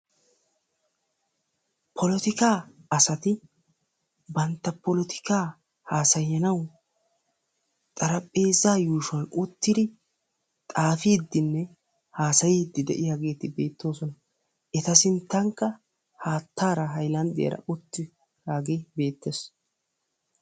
Polottikka asati bantta polotiikkaa haasayanawu xarphpheezaa yuushuwan uttidi, xaafidinne haasayiidi de'iyageeti beettoosona. Eta sinttankka haattaara haylanddiyaraa uttidaagee beettees.